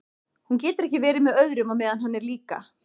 Hún getur ekki verið með öðrum á meðan hann er líka.